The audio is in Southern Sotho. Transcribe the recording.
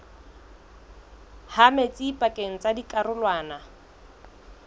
ha metsi pakeng tsa dikarolwana